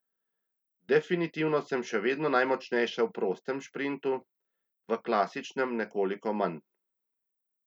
Definitivno sem še vedno najmočnejša v prostem šprintu, v klasičnem nekoliko manj.